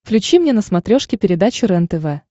включи мне на смотрешке передачу рентв